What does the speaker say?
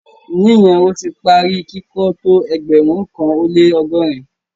Níyẹn, o ti pá rí kikọ̀ tó ẹgbérùn kan o le ọgọ́rin?